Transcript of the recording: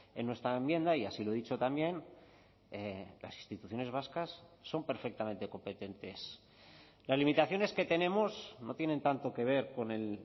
en nuestra enmienda y así lo he dicho también las instituciones vascas son perfectamente competentes las limitaciones que tenemos no tienen tanto que ver con el